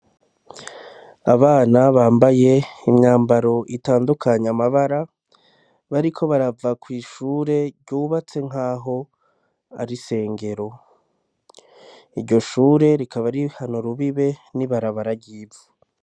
Abana bambaye imyambaro itandukanye amabara, bariko baraba kw'ishure ryubatse nkaho Ari isengero. Iryo Shure rikaba rihan'urubibe n'ibarabara ry'ivu.